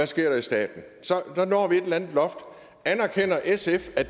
sker i staten så når vi et eller andet loft anerkender sf at